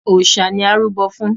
Òòṣà ni à ń rúbọ̀ fún.